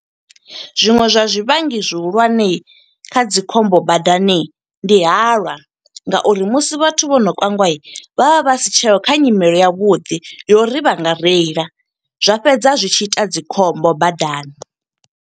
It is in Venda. Zwiṅwe zwa zwivhangi zwihulwane kha dzi khombo badani, ndi halwa nga uri musi vhathu vho no kangwa. Vha vha vha si tsheho, kha nyimele ya vhuḓi, ya uri vha nga reila. Zwa fhedza zwi tshi ita dzi khombo badani.